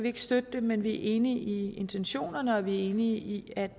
ikke støtte dem men vi er enige i intentionerne og vi er enige i at